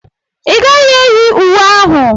Ị gaghị eyi uwe ahụ.